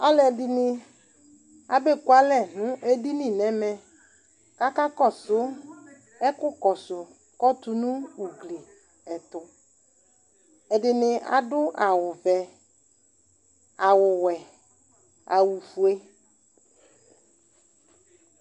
Alʋɛdɩnɩ abekualɛ nʋ edini nʋ ɛmɛ kʋ akakɔsʋ ɛkʋkɔsʋ kʋ ɔtʋ nʋ ugli ɛtʋ Ɛdɩnɩ adʋ awʋvɛ, awʋwɛ, awʋfue